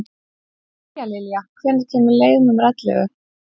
Tíalilja, hvenær kemur leið númer ellefu?